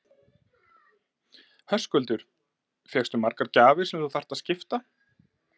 Höskuldur: Fékkstu margar gjafir sem þú þarft að skipta?